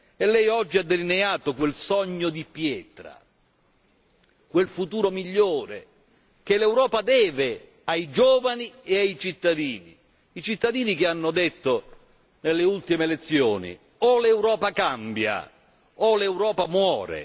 E lei oggi ha delineato quel sogno di pietra, quel futuro migliore che l'Europa deve ai giovani e ai cittadini, i cittadini che hanno detto nelle ultime elezioni O l'Europa cambia, o l'Europa muore.